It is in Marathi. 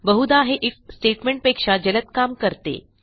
बहुधा हे आयएफ स्टेटमेंट पेक्षा जलद काम करते